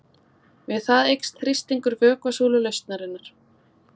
Við það eykst þrýstingur vökvasúlu lausnarinnar.